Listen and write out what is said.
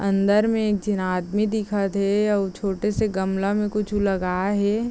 अंदर में एक झन आदमी दिखत हे अउ छोटे -से गमला में कुछु लगाए हे।